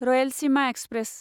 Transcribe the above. Rayalaseema express